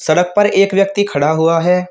सड़क पर एक व्यक्ति खड़ा हुआ है।